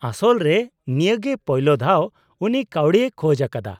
-ᱟᱥᱚᱞ ᱨᱮ, ᱱᱤᱭᱟᱹᱜᱮ ᱯᱳᱭᱞᱳ ᱫᱷᱟᱣ ᱩᱱᱤ ᱠᱟᱣᱰᱤᱭ ᱠᱷᱚᱡ ᱟᱠᱟᱫᱟ ᱾